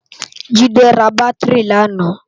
Jide rá bàtirí làná